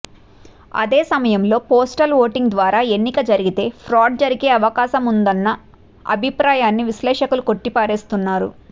అదే సమయంలో postal voting ద్వారా ఎన్నిక జరిగితే ఫ్రాడ్ జరిగే అవకాశముందన్న అభిప్రాయాన్ని విశ్లేషకులు కొట్టిపారేస్తున్నారు